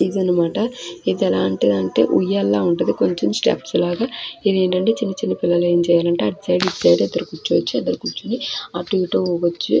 అన్నమాట . ఇది ఎలాంటిదంటే ఉయ్యాలా ఉంటది కొంచం స్టెప్స్ లాగా ఇదేటంటే చిన్ని చిన్ని పిల్లలు ఎం చేయాలంటే అటు సైడు ఇటూ సైడు ఇద్దరు కుర్చోచ్చు ఇద్దరు కూర్చొని అటు ఇటు ఊగచ్చూ.